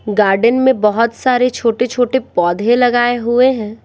Garden में बहुत सारे छोटे-छोटे पौधे लगाए हुए हैं।